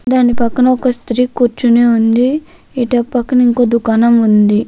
దాని పక్కన ఒక శిరి కూర్చొని ఉంది. పక్కన దుకాణం కూడా ఉంది.